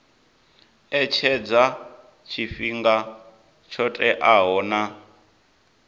etshedza tshifhinga tsho teaho na